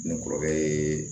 Ne kɔrɔkɛ yee